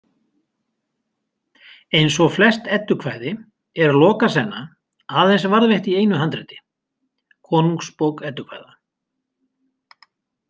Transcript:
Eins og flest eddukvæði er Lokasenna aðeins varðveitt í einu handriti, Konungsbók eddukvæða.